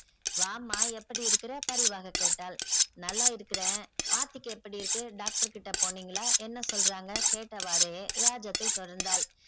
வாம்மா எப்படி இருக்கிற பரிவாக கேட்டாள். நல்லா இருக்கிறேன் ஆர்த்திக்கு எப்படி இருக்கு doctor கிட்ட போனீங்களா என்ன சொல்றாங்க கேட்டவாரே ராஜத்தை தொடர்ந்தாள்.